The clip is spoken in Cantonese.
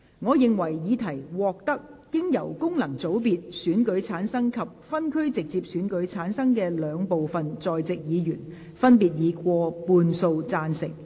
我認為議題獲得經由功能團體選舉產生及分區直接選舉產生的兩部分在席議員，分別以過半數贊成。